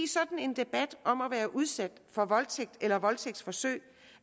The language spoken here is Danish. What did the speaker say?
sådan en debat om at være udsat for voldtægt eller voldtægtsforsøg